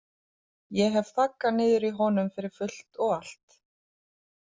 Ég hef þaggað niður í honum fyrir fullt og allt.